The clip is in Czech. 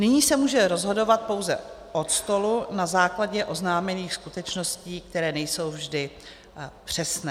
Nyní se může rozhodovat pouze od stolu na základě oznámených skutečností, které nejsou vždy přesné.